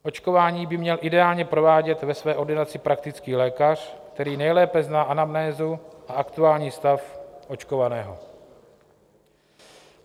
Očkování by měl ideálně provádět ve své ordinaci praktický lékař, který nejlépe zná anamnézu a aktuální stav očkovaného.